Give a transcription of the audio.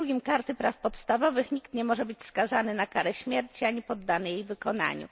2 Karty praw podstawowych nikt nie może być skazany na karę śmierci ani poddany jej wykonaniu.